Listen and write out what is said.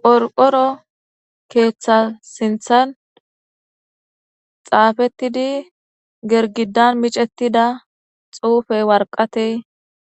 Qorqoro keeththa siinththan xaafettidi gergidan micettida xuufey warqatey